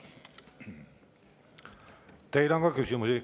Teile on ka küsimusi.